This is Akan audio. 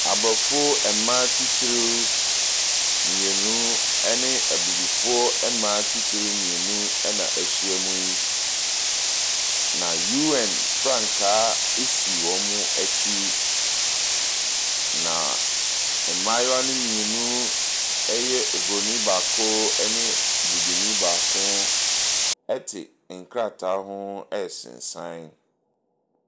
Aborɔfo mmaa titire mmienu ne abibifoɔ mmaa atitire mmienu na ahyia mu yi, na UN frankaa si wɔn akyi, na mmayewa no mmienu, ɛyɛ oburoni baako ne bibini baako te nkrataa ho resensan.